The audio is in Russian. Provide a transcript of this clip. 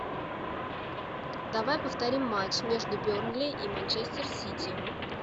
давай повторим матч между бернли и манчестер сити